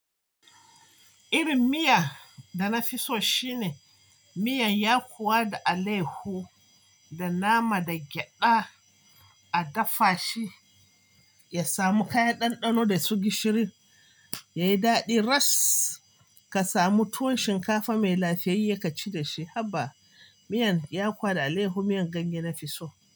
Irin miya da na fi so shine miyan yakuwa da alehu da nama da gyada a dafa shi, ya samu kayan ɗanɗano da su gishirin yayi daɗi. Ras ka samu tuwon shinkafa mai lafiyayya ka ci da shi. Haba miyan yakuwa da alehu miyan ganye na fi so.